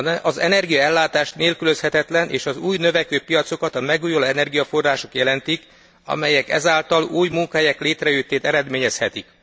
Az energiaellátás nélkülözhetetlen és az új, növekvő piacokat a megújuló energiaforrások jelentik, amelyek ezáltal új munkahelyek létrejöttét eredményezhetik.